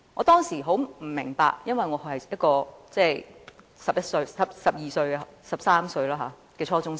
當時我並不明白，因為我只是一名十三歲的初中生。